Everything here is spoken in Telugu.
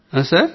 ఆ సార్